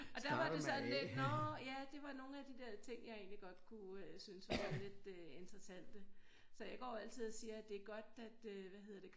Og der var det sådan lidt nårh ja det var nogle af de der ting jeg egentlig godt kunne synes var lidt øh interessante så jeg går altid og siger det godt at øh hvad hedder det